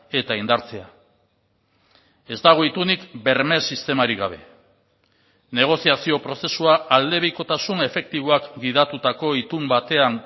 eta indartzea ez dago itunik berme sistemarik gabe negoziazio prozesua aldebikotasun efektiboak gidatutako itun batean